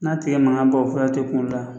N'a tɛgɛ mankan bɔ o fura te kuŋolo la